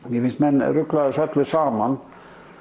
mér finnst menn rugla þessu öllu saman